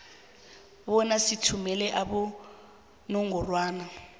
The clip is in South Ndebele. bona sithumele abonobangelabo